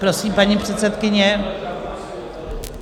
Prosím, paní předsedkyně.